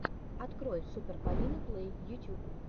открой супер полину плэй ютюб